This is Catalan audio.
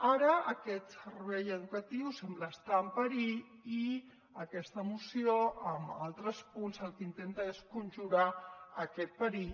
ara aquest servei educatiu sembla estar en perill i aquesta moció amb altres punts el que intenta és conjurar aquest perill